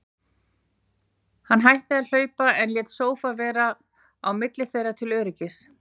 Hann hætti að hlaupa, en lét sófa vera á milli þeirra til öryggis.